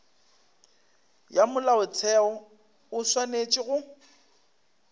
ya molaotheo o swanetše go